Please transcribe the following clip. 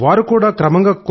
వారు కూడా క్రమంగా